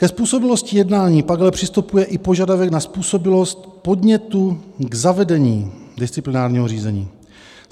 Ke způsobilosti jednání pak ale přistupuje i požadavek na způsobilost podnětu k zavedení disciplinárního řízení.